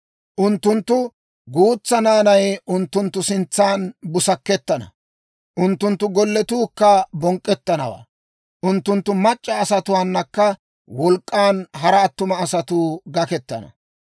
Unttunttu guutsaa naanay unttunttu sintsan busakettana; unttunttu golletuukka bonk'k'ettanawaa; unttunttu mac'c'a asatuwaannakka wolk'k'an hara attuma asatuu gakettana.